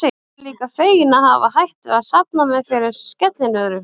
Ég er líka feginn að hafa hætt við að safna mér fyrir skellinöðru.